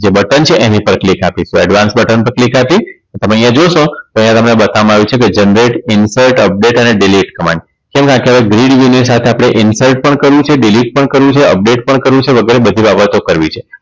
જે બટન છે એની પર click આપી તો advance બટન પર click આપી તને અહીંયા જોશો તો તમને અહીંયા બતાવવામાં આવ્યું છે કે generate insert update અને delete થવાની સાથે આપણે insert પણ કરવું છે delete પણ કરવું છે update પણ કરવું છે વગેરે બધી બાબતો કરવી છે.